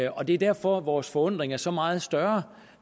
og det er derfor vores forundring er så meget større